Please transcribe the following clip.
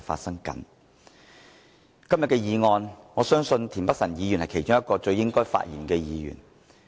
在今天的議案辯論，我相信田北辰議員是其中一位最應該發言的議員。